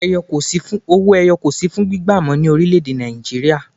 Owó ẹyọ kò sì fún gbígba mọ ní orílè èdè Nàìjíríà